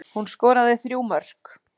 Hún skoraði þrjú mörk